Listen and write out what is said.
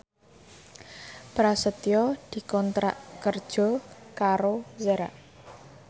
Prasetyo dikontrak kerja karo Zara